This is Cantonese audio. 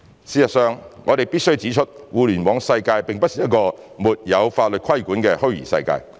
事實上，我們必須指出，互聯網世界並不是一個沒有法律規管的虛擬世界。